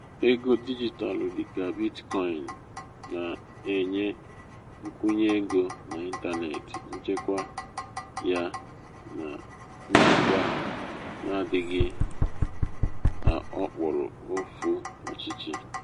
um ego dijitalụ dịka bitcoini na-enye nkwụnye ego n’ịntanetị nchekwa yana yana njikwa na-adịghị n’okpuru ofú ọchịchị.